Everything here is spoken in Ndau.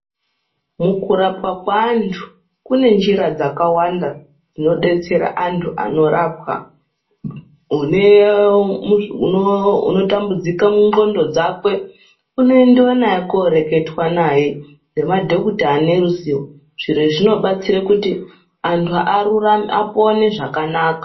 Mukurapwa kweantu kune njira dzakawanda dzinodetsera antu anorapwa unotambudzika mundxondo dzakwe unoendwe naye koreketwa naye ngemadhokuta ane ruzivo zviro izvi zvinobatsira kuti antu apone zvakanaka.